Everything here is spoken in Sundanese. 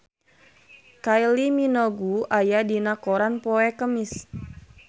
Kylie Minogue aya dina koran poe Kemis